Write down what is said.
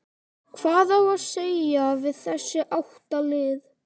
Hvað á að segja við þessi átta lið?